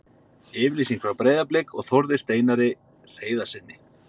Yfirlýsing frá Breiðablik og Þórði Steinari Hreiðarssyni.